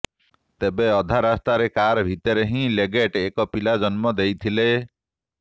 ତେବେ ଅଧା ରାସ୍ତାରେ କାର ଭିତରେ ହିଁ ଲେଗେଟ ଏକ ପିଲା ଜନ୍ମ ଦେଇଥିଲେ